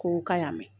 Ko k'a y'a mɛn